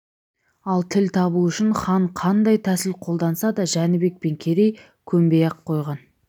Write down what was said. ал тіл табу үшін хан қандай тәсіл қолданса да жәнібек пен керей көнбей-ақ қойған